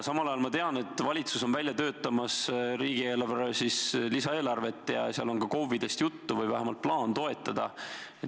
Samal ajal ma tean, et valitsus on välja töötamas riigieelarve lisaeelarvet ja seal on ka KOV-idest juttu või vähemalt on plaan neid toetada.